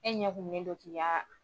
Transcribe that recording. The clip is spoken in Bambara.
E ɲɛkununnen don ki ya